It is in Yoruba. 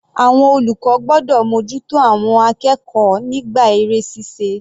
Àwọn olùkọ́ gbọ́dọ̀ mú ojú tó àwọn akẹ́kọ̀ọ́ nígbà eré ṣíṣe.